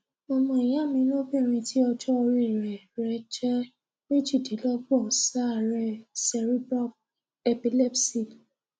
ọmọ ìyá mi lóbìnrin tí ọjọ́ orí rẹ̀ jẹ méjìdínlọ́gbọ̀n ń ṣàárẹ̀ cerebral epilepsy